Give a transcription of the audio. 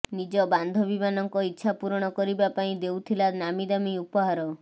ନିଜ ବାନ୍ଧବୀମାନଙ୍କ ଇଚ୍ଛା ପୂରଣ କରିବା ପାଇଁ ଦେଉଥିଲା ନାମୀଦାମୀ ଉପହାର